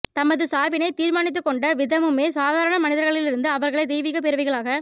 தமது சாவினைத் தீர்மானித்துக்கொண்ட விதமுமே சாதாரண மனிதர்களிலிருந்து அவர்களை தெய்வீகப் பிறவிகளாக